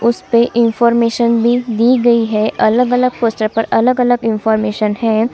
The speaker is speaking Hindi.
उस पर इनफार्मेशन दी गयी है अलग-अलग विषय पर अलग-अलग इनफार्मेशन है।